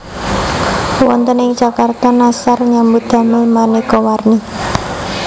Wonten ing Jakarta Nashar nyambut damel manéka warni